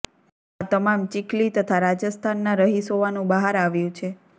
આ તમામ ચીખલી તથા રાજસ્થાનના રહીશ હોવાનું બહાર આવ્યું છે